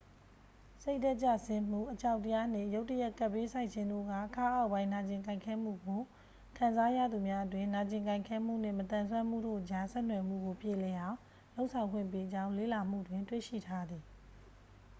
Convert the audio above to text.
စိတ်ဓာတ်ကျဆင်းမှု အကြောက်တရားနှင့် ရုတ်တရက် ကပ်ဘေးဆိုက်ခြင်းတို့က ခါးအောက်ပိုင်း နာကျင်ကိုက်ခဲမှုကို ခံစားရသူများအတွင်း နာကျင်ကိုက်ခဲမှုနှင့် မသန်စွမ်းမှုတို့အကြား ဆက်နွယ်မှုကို ပြေလည်အောင် လုပ်ဆောင်ပေးကြောင်း လေ့လာမှုတွင် တွေ့ရှိထားသည်